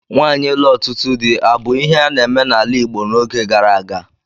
Nwaanyi ịlụ ọtụtụ di abu ihe a na-eme n'ala Igbo n'oge gara aga?